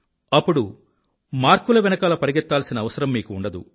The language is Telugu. అప్పుడు మార్కుల వెనకాల పరిగెత్తాల్సిన అవసరం మీకు ఉండదు